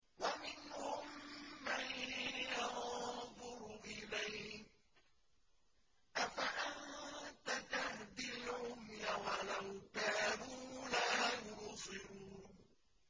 وَمِنْهُم مَّن يَنظُرُ إِلَيْكَ ۚ أَفَأَنتَ تَهْدِي الْعُمْيَ وَلَوْ كَانُوا لَا يُبْصِرُونَ